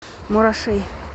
мурашей